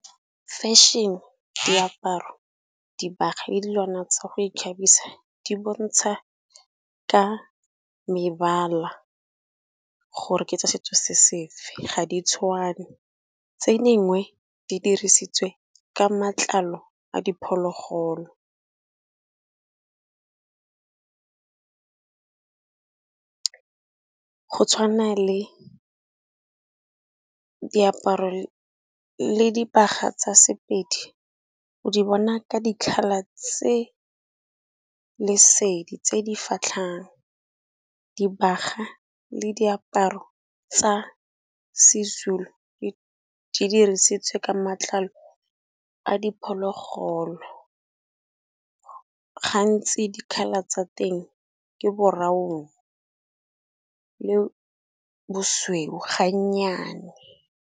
Fashion-e, diaparo, dibaga le dilwana tsa go ikgabisa di bontsha ka mebala gore ke tsa setso se sefe ga di tshwane. Tse dingwe di dirisitswe ka matlalo a diphologolo, go tshwana le diaparo le dibaga tsa Sepedi o di bona ka di-color tse lesedi tse di fitlhang. Dibaga le diaparo tsa Sezulu dirisitswe ka matlalo a diphologolo, gantsi di-color tsa teng ke borawono le bosweu ga nnyane.